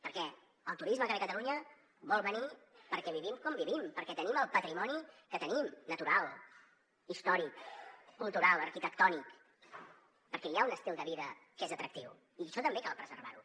perquè el turisme que ve a catalunya vol venir perquè vivim com vivim perquè tenim el patrimoni que tenim natural històric cultural arquitectònic perquè hi ha un estil de vida que és atractiu i això també cal preservar ho